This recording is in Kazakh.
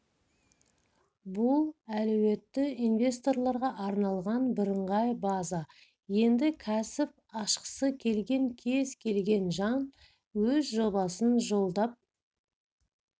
бұл әлеуетті инвесторларға арналған бірыңғай база енді кәсіп ашқысы келген кез келген жан өз жобасын жолдап